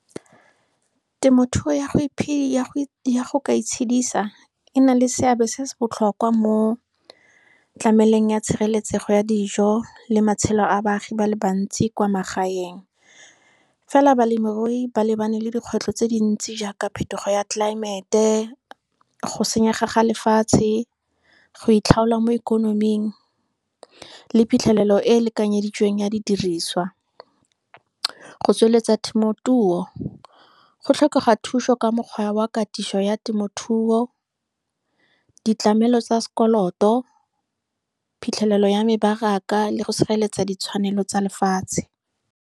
Temothuo ya go ka itshedisa ena le seabe se se botlhokwa mo tlameleng ya tshireletsego ya dijo, le matshelo a baagi ba le bantsi kwa magaeng. Fela balemirui ba lebane le dikgwetlho tse dintsi jaaka phetogo ya tlelaemete, go senyega ga lefatshe, go itlhaola mo ikonoming, le phitlhelelo e lekanyeditsweng ya didiriswa. Go tsweletsa temothuo go tlhokega thuso ka mokgwa wa katiso ya temothuo, ditlamelo tsa sekoloto, phitlhelelo ya mebaraka. Le go sireletsa ditshwanelo tsa lefatshe.